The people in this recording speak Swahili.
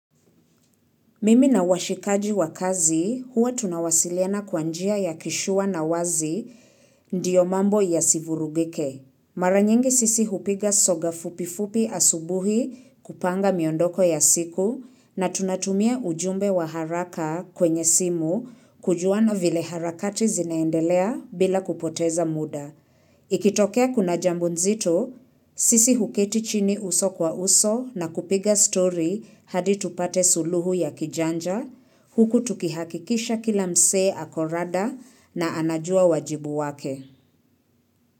Mimi na washikaji wa kazi huwa tunawasiliana kwa njia ya kisure na wazi ndiyo mambo ya si vurugike. Mara nyingi sisi hupiga soga fupifupi asubuhi kupanga miondoko ya siku na tunatumia ujumbe wa haraka kwenye simu kujuana vile harakati zinaendelea bila kupoteza muda. Ikitokea kuna jambo nzito, sisi huketi chini uso kwa uso na kupiga story hadi tupate suluhu ya kijanja, huku tukihakikisha kila msee ako rada na anajua wajibu wake.